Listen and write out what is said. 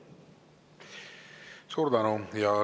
Suur tänu!